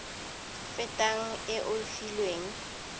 fetang e o e filweng